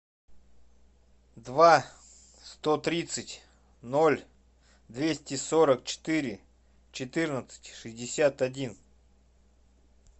два сто тридцать ноль двести сорок четыре четырнадцать шестьдесят один